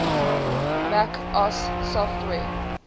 mac os software